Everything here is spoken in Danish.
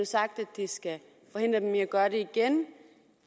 sagt at det skal forhindre dem i at gøre det igen